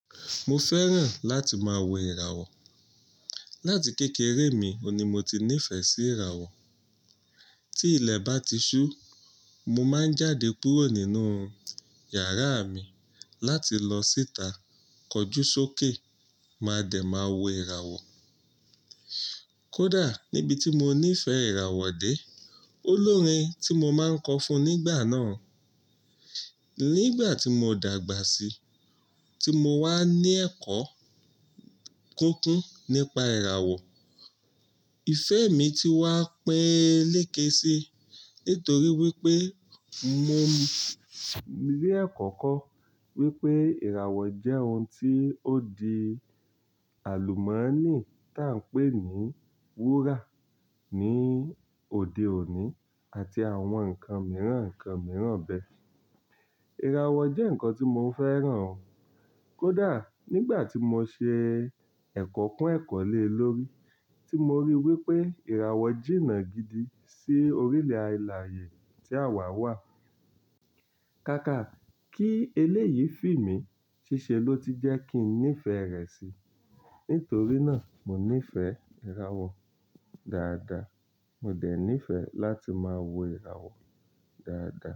Mo fẹ́ràn láti máa wo ìràwọ̀. Láti kékeré mi o ni mo ti nífẹ̀ẹ́ sí ìràwọ̀. Tí ilẹ̀ bá ti ṣú, mo máa ń jáde kúrò nínú yàrá mi láti lọ síta kọjú sókè, máa dẹ̀ máa wo ìràwọ̀. Kódà níbi tí mo nífẹ̀ẹ́ ìràwọ̀ dé, olórin tí mo máa ń kọ fún nígbà náà. Nígbà tí mo dàgbà sí, tí mo wá ní ẹ̀kọ́ kúnkún nípa ìràwọ̀, ìfẹ́ mi ti wá péé lékèésí nítorí wípé mo rí ẹkọ́ kọ́ wípé ìràwọ̀ jẹ́ ohun tí ó di àlùmọ́nì tí à ń pè ní wúrà ní òde òní àti àwọn nǹkan mìíràn, ǹkan mìíràn bẹ́ẹ̀. Ìràwọ̀ jẹ́ nǹkan tí mo fẹ́ràn kódà nígbà tí mo ṣe ẹ̀kọ́ kún ẹ̀kọ́ lé lórí tí mo rí wípé ìràwọ̀ jìnnà gidi sí orílẹ̀ alààyè tí àwa wà. Kaka kí eléyìí fíìmi ṣíṣe ló ti jẹ́ kí n nífẹ̀ẹ́ rẹ̀ si. Nítorí náà mo nífẹ̀ẹ́ ìràwọ̀ dáadáa. Mo dẹ̀ nífẹ̀ẹ́ láti máa wo ìràwọ̀ dáadáa.